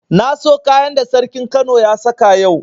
Na so kayan da sarkin kano ya saka yau.